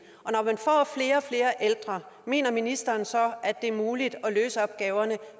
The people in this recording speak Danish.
og flere og flere ældre mener ministeren så at det er muligt at løse opgaverne